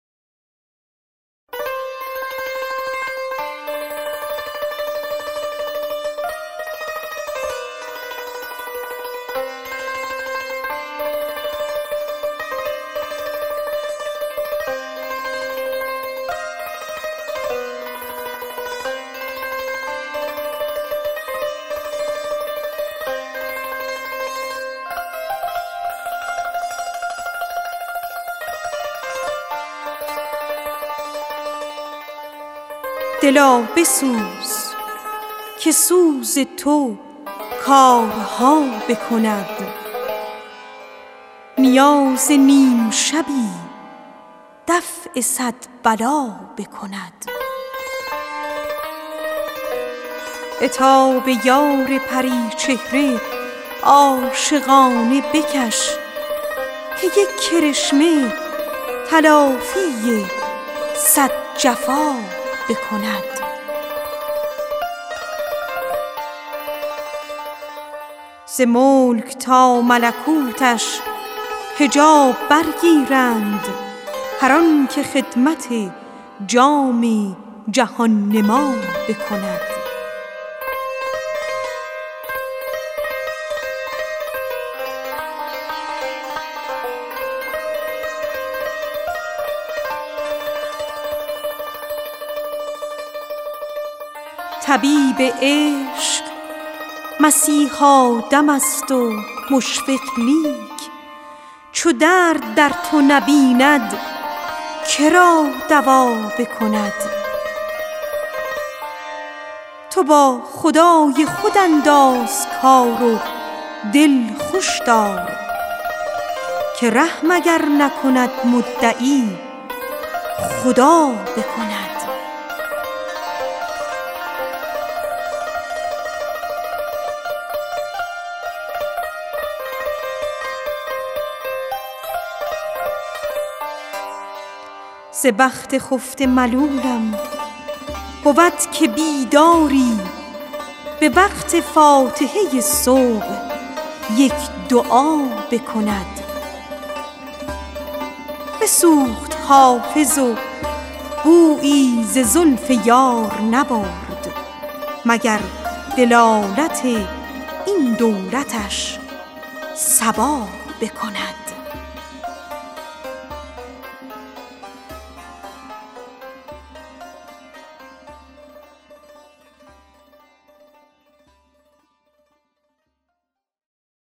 دلا بسوز که سوز تو کارها بکند نیاز نیم شبی دفع صد بلا بکند عتاب یار پری چهره عاشقانه بکش که یک کرشمه تلافی صد جفا بکند ز ملک تا ملکوتش حجاب بردارند هر آن که خدمت جام جهان نما بکند طبیب عشق مسیحا دم است و مشفق لیک چو درد در تو نبیند که را دوا بکند تو با خدای خود انداز کار و دل خوش دار که رحم اگر نکند مدعی خدا بکند ز بخت خفته ملولم بود که بیداری به وقت فاتحه صبح یک دعا بکند بسوخت حافظ و بویی به زلف یار نبرد مگر دلالت این دولتش صبا بکند